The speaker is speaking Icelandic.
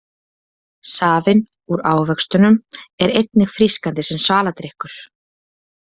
Safinn úr ávextinum er einnig frískandi sem svaladrykkur.